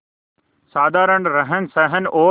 साधारण रहनसहन और